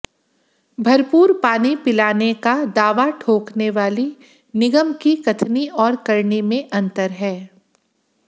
भरपूर पानी पिलाने का दावा ठोंकने वाली निगम की कथनी और करनी में अंतर है